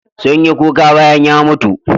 Sun yi kuka bayan ya mutu.